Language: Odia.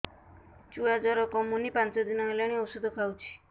ଛୁଆ ଜର କମୁନି ପାଞ୍ଚ ଦିନ ହେଲାଣି ଔଷଧ ଖାଉଛି